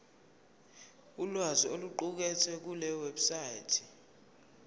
ulwazi oluqukethwe kulewebsite